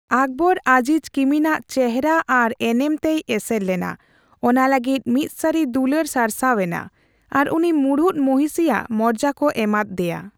ᱚᱠᱵᱚᱨ ᱟᱡᱤᱡ ᱠᱤᱢᱤᱱᱟᱜ ᱪᱮᱦᱨᱟ ᱟᱨ ᱮᱱᱮᱢ ᱛᱮᱭ ᱮᱥᱮᱨ ᱞᱮᱱᱟ; ᱚᱱᱟ ᱞᱟᱹᱜᱤᱫ ᱢᱤᱫ ᱥᱟᱹᱨᱤ ᱫᱩᱞᱟᱹᱲ ᱥᱟᱨᱥᱟᱣ ᱮᱱᱟ ᱟᱨ ᱩᱱᱤ ᱢᱩᱬᱩᱛ ᱢᱚᱦᱤᱥᱤ ᱭᱟᱜ ᱢᱚᱨᱡᱟ ᱠᱚ ᱮᱢᱟᱫ ᱫᱮᱭᱟ ᱾